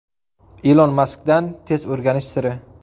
Ilon Maskdan tez o‘rganish siri.